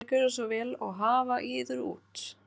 Viljið þér gjöra svo vel og hafa yður út.